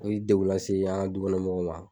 U ye degu lase an ŋa du kɔnɔ mɔgɔw ma.